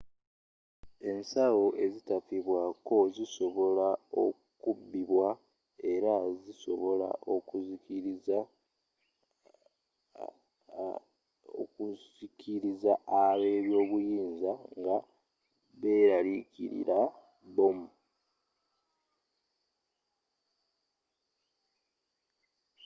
ensawo ezitafibwako zisobola okubbibwa era zisobola okusikiriza ab'obuyinza nga berarikirira bbomu